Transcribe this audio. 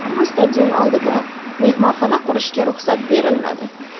Ammo stadion oldida mehmonxona qurishga ruxsat berilmadi.